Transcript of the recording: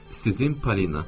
Sizin Polina.